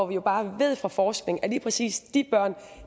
vi jo bare ved fra forskning at lige præcis